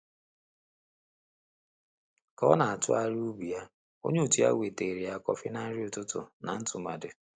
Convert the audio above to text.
Ka ọ na-atụgharị ubu ya, onye òtù ya wetere ya kọfị na nri ụtụtụ na ntụmadị.